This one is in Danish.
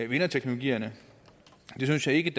vinderteknologierne det synes jeg ikke